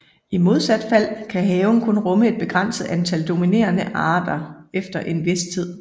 I modsat fald kan haven kun rumme et begrænset antal dominerende arter efter en vis tid